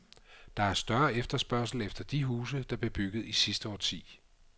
Der er større efterspørgsel efter de huse, der blev bygget i sidste årti.